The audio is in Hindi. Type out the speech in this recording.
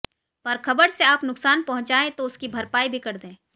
पर खबर से आप नुकसान पहुंचाएं तो उसकी भरपाई भी कर दें